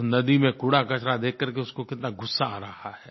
उस नदी में कूड़ाकचरा देख कर के उसको कितना गुस्सा आ रहा है